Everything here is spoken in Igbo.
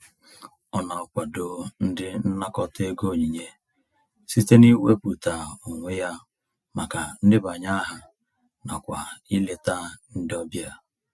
Ọ na-akwado ndị nnakọta ego onyinye site n'iwepụta onwe ya maka ndebanye aha nakwa ileta ndị ọbịa.